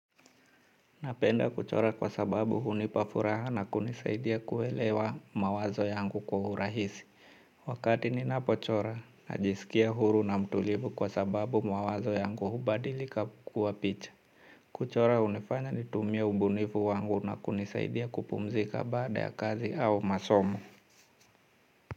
Napenda kuchora kwa sababu hunipa furaha na kunisaidia kuelewa mawazo yangu kwa urahisi. Wakati ninapochora, najisikia huru na mtulivu kwa sababu mawazo yangu hubadilika kuwa picha. Kuchora hunifanya nitumie ubunifu wangu na kunisaidia kupumzika baada ya kazi au masomo.